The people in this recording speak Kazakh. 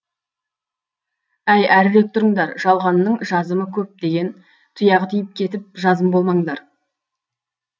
әй әрірек тұрыңдар жалғанның жазымы көп деген тұяғы тиіп кетіп жазым болмаңдар